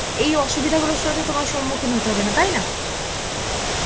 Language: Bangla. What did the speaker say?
এই অসুবিধা গুলোর সাথে তোমার সম্মুখীন হতে হবে না, তাই না?